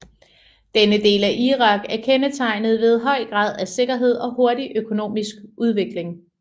Denne del af Irak er kendetegnet ved høj grad af sikkerhed og hurtig økonomisk udvikling